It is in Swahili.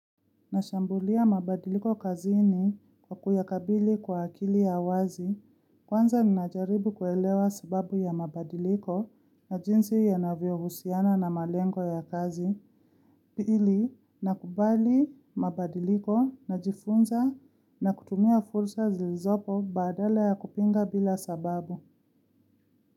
Nashambulia mabadiliko kazini kwa kuyakabili kwa akili ya wazi. Kwanza ninajaribu kuelewa sababu ya mabadiliko na jinsi yanavyohusiana na malengo ya kazi. Pili, nakubali mabadiliko najifunza na kutumia fursa zilizopo badala ya kupinga bila sababu.